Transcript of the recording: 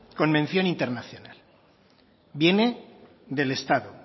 con mención internacional viene del estado